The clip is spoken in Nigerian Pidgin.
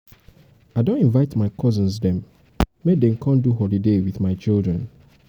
i don invite my cousins dem make dey come um do holiday wit my children.